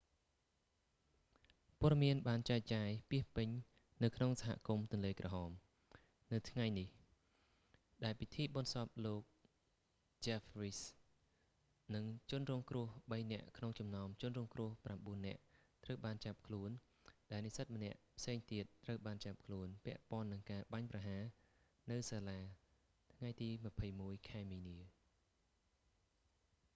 ព័ត៌មានបានចែកចាយពាសពេញនៅក្នុងសហគមន៍ទន្លេក្រហម red lak នៅថ្ងៃនេះ ដែលពិធីបុណ្យសពលោកចេហ្វ វីស៍ jeff weise និងជនរងគ្រោះបីនាក់ក្នុងចំណោមជនរងគ្រោះប្រាំបួននាក់ត្រូវបានចាប់ខ្លួនដែលនិស្សិតម្នាក់ផ្សេងទៀត ត្រូវបានចាប់ខ្លួនពាក់ព័ន្ធនឹងការបាញ់ប្រហារនៅសាលាថ្ងៃទី 21 ខែមីនា